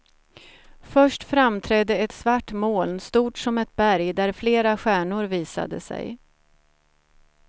Först framträdde ett svart moln stort som ett berg där flera stjärnor visade sig.